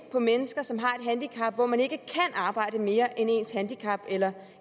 på mennesker som har handicap hvor man ikke kan arbejde mere end ens handicap eller